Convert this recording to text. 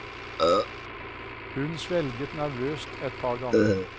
Hun svelget nervøst et par ganger.